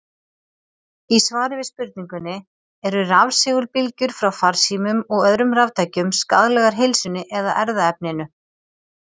Í svari við spurningunni: Eru rafsegulbylgjur frá farsímum og öðrum raftækjum skaðlegar heilsunni eða erfðaefninu?